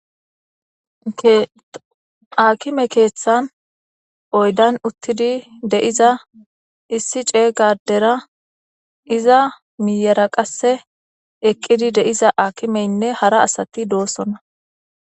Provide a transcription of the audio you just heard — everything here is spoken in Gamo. Akime keeththan oydan uttidi deiza issi ceey gadera iza miyera qasse eqqidi deiza aakimeynne hara asati doosonna.